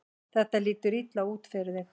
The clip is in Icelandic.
Þetta lítur illa út fyrir þig